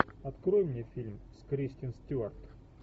открой мне фильм с кристен стюарт